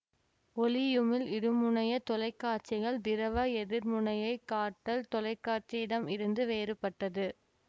ஒளியுமிழ் இருமுனைய தொலைக்காட்சிகள் திரவ எதிர்முனைய காட்டல் தொலைக்காட்சியிடம் இருந்து வேறுபட்டது